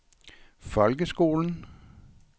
folkeskolen